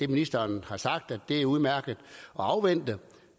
ministeren har sagt er udmærket at afvente